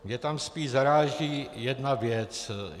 Mě tam spíš zaráží jedna věc.